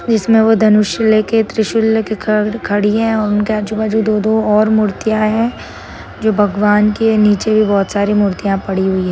इसमे वो धनुष्य लेके त्रिशूल लेके ख खड़ी है उनके आजूबाजू दो दो और मूर्तिया है जो भगवान के नीचे भी बहुत सारे मूर्तिया पड़ी हुई है।